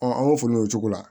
an b'o fo ne cogo la